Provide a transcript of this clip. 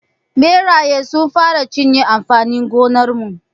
Ɓeraye sun fara cinye amfanin gonar mu.